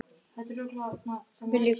Pabbi líka.